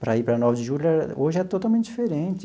para ir para a Nove de Julho, hoje é totalmente diferente.